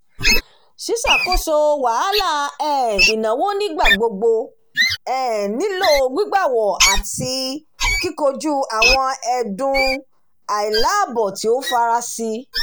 ṣíṣàkóso wahalà um ìnáwó nigbagbogbo um nílò gbígbàwọ̀ àti kíkọjú àwọn ẹ̀dùn àìláìbọ̀ tí ó farasí